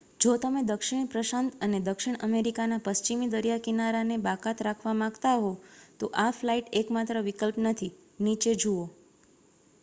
જો તમે દક્ષિણ પ્રશાંત અને દક્ષિણ અમેરિકાના પશ્ચિમી દરિયાકિનારાને બાકાત રાખવા માગતા હો તો આ ફ્લાઇટ એકમાત્ર વિકલ્પ નથી. નીચે જુઓ